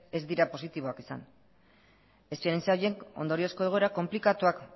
ez dira positiboak izan esperientzia horiek ondoriozko egoera konplikatuak